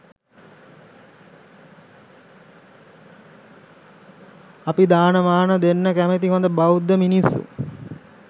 අපි දානමාන දෙන්න කැමති හොඳ බෞද්ධ මිනිස්‌සු.